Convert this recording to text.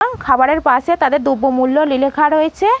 এবং খাবারের পাশে তাদের দ্রব্য মূল্য লে লেখা রয়েছে।